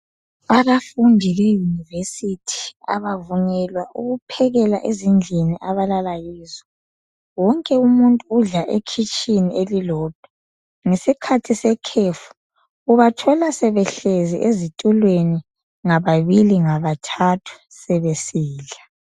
Abafundi be university abavunyelwa ukuphekela ezindlini abalala kizo. Wonke umuntu udla ekhitshini elilodwa. Nhesikhathi sekhefu ubathola sebehlezi ezitulweni ngababili ngabathathu sebesidla.